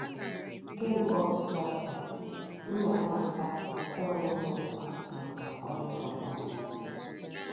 Kemgbe ọtụtụ afọ, m nọ na - ata - ata onwe m ụta maka ọnwụ papa m.